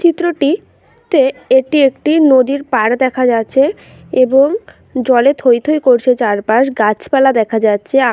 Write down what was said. চিত্রটিতে তে এটি একটি নদীর পাড় দেখা যাচ্ছে এবং জলে থৈথৈ করছে চারপাশ গাছপালা দেখা যাচ্ছে আ--